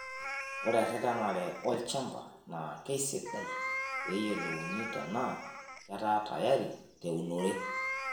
Ore eretenare olchamba naa keisidai pee eiyiolouni tenaa ketaa tayari teunore.